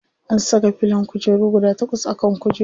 An saka filon kujeru guda takwas a kan kujerun.